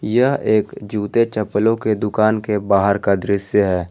यह एक जूते चप्पलों के दुकान के बाहर का दृश्य है।